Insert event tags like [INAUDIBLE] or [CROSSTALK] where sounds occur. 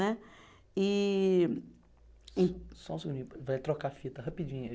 Né e. Só um segundinho, vai trocar a fita rapidinho. [UNINTELLIGIBLE]